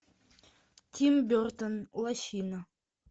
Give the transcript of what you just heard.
тим бертон лощина